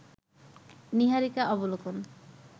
নীহারিকা অবলোকন